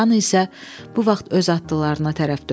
Xan isə bu vaxt öz atlılarına tərəf döndü.